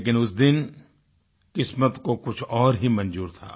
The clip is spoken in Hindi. लेकिन उस दिन किस्मत को कुछ और ही मंज़ूर था